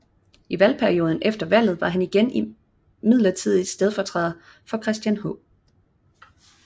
I valgperioden efter valget var han igen midlertidigt stedfortræder for Christian H